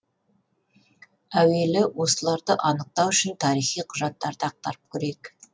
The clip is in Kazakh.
әуелі осыларды анықтау үшін тарихи құжаттарды ақтарып көрейік